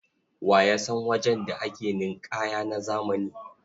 Wa ya san wajen da ake ninƙaya na zamani?